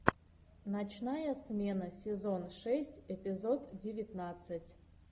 ночная смена сезон шесть эпизод девятнадцать